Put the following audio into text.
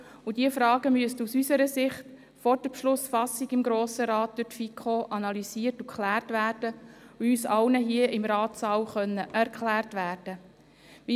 Diese Fragen müssen aus unserer Sicht vor der Beschlussfassung im Grossen Rat durch die FiKo analysiert und geklärt werden, und sie müssen uns allen hier im Ratssaal erklärt werden können: